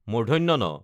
ণ